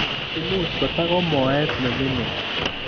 Imuch kotak ko moet nemining